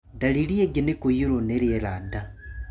Ndariri ĩngĩ nĩ kũiyũrũo nĩ rĩera nda.